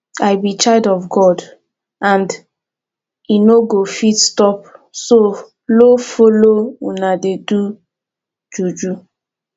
i be child of god and i no go fit stoop so low follow una dey do juju